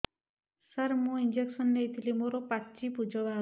ସାର ମୁଁ ଇଂଜେକସନ ନେଇଥିଲି ମୋରୋ ପାଚି ପୂଜ ବାହାରୁଚି